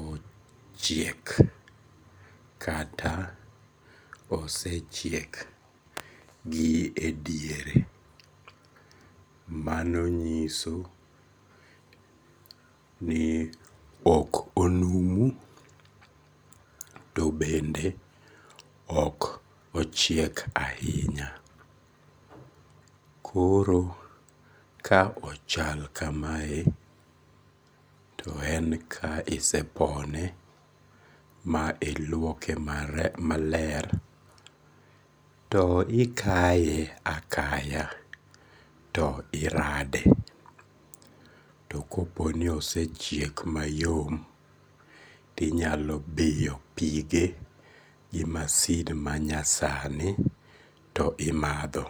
ochiek kata osechiek gi e diere, mano nyiso ni ok onumu to bende ok ochiek ahinya, koro ka ochal kamae to en ka isepone ma iluoke maler to ikaye akaya to irade, to koponi osechiek mayom, tinyalo biyo pige gi masin manyasani to imadho